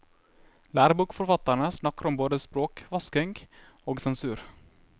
Lærebokforfatterne snakker om både språkvasking og sensur.